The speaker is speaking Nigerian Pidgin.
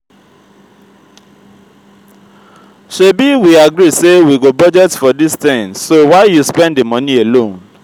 shebi we agree say we go budget for dis thing so why you spend the money alone